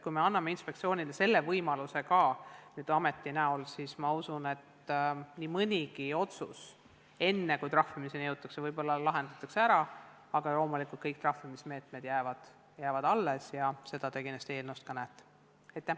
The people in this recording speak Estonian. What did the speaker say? Kui me anname inspektsioonile selle võimaluse ka nüüd ameti näol, siis ma usun, et võib-olla nii mõnigi otsus lahendatakse ära enne, kui trahvimiseni jõutakse, aga loomulikult kõik trahvimismeetmed jäävad alles ja seda te kindlasti eelnõust ka näete.